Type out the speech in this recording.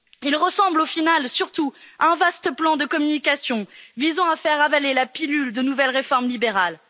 Il ressemble au final surtout à un vaste plan de communication visant à faire avaler la pilule de nouvelles réformes libérales.